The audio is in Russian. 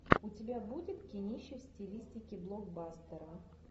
у тебя будет кинище в стилистике блокбастера